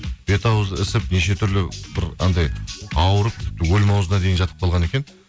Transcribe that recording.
бет ауызы ісіп неше түрлі бір анандай ауырып өлім ауызына дейін жатып қалған екен